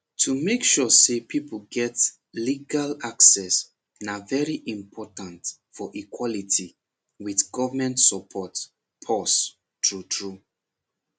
to make sure say people get legal access na very important for equality with government support pause true true